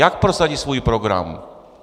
Jak prosadí svůj program?